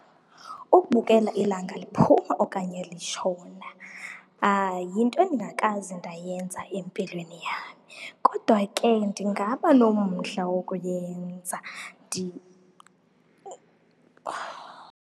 Ukubukela ilanga liphuma okanye litshona yinto endikakaze ndayenza empilweni yam. Kodwa ke ndingaba nomdla wokuyenza .